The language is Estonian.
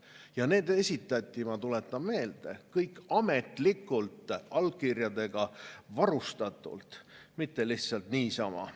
Ja need esitati, ma tuletan meelde, kõik ametlikult, allkirjadega varustatult, mitte lihtsalt niisama.